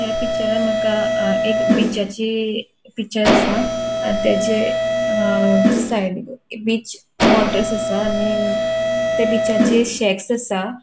ह्या पिक्चरान माका अ एक बीचाची पिक्चर आसा आणि त्याचे अ साइडीक बीच वॉटर आसा आणि त्या बीचाचेर शॅक्स आसा.